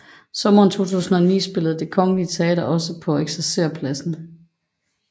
Sommeren 2009 spillede Det Kongelige Teater også på Eksercerpladsen